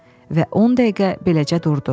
Və on dəqiqə beləcə durdu.